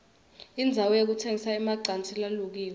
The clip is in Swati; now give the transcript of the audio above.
indzawo yekutsengisa emacansi lalukiwe